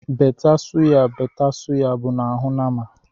Bête sụya bête sụya bụ n’ahụ nama